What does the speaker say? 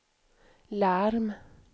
larm